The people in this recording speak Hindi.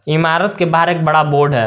इमारत के बाहर एक बड़ा बोर्ड है।